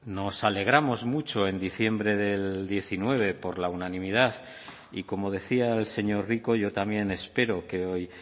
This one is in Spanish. nos alegramos mucho en diciembre del diecinueve por la unanimidad y como decía el señor rico yo también espero que hoy